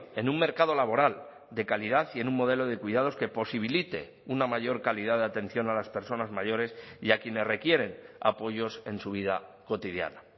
en un mercado laboral de calidad y en un modelo de cuidados que posibilite una mayor calidad de atención a las personas mayores y a quienes requieren apoyos en su vida cotidiana